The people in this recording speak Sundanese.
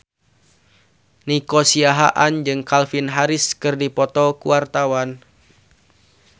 Nico Siahaan jeung Calvin Harris keur dipoto ku wartawan